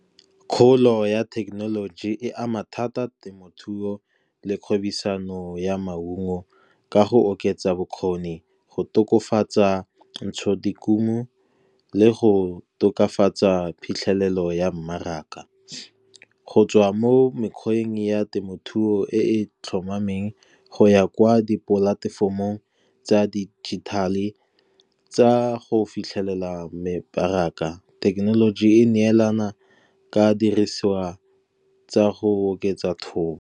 Kgolo ya thekenoloji e ama thata temothuo le kgwebisano ya maungo ka go oketsa bokgoni, go tokafatsa ntshodikuno le go tokafatsa phitlhelelo ya mmaraka. Go tswa mo mekgweng ya temothuo e e tlhomameng go ya kwa di-platform-ong tsa digital-e, tsa go fitlhelela mebaraka, thekenoloji e neelana ka dirisiwa tsa go oketsa thobo.